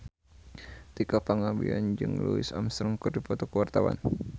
Tika Pangabean jeung Louis Armstrong keur dipoto ku wartawan